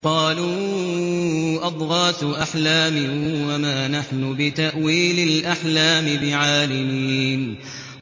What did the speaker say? قَالُوا أَضْغَاثُ أَحْلَامٍ ۖ وَمَا نَحْنُ بِتَأْوِيلِ الْأَحْلَامِ بِعَالِمِينَ